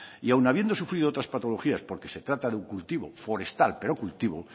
y aun habiendo sufrido otras patologías porque se trata de un cultivo forestal pero cultivo